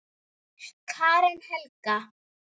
Karen Helga.